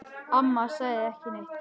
Amma sagði ekki neitt.